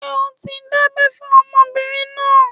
Ṣé a ti dábẹ́ fún ọmọbìnrin náà?